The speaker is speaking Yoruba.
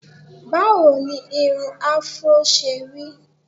Báwo ni irun afro ṣe rí?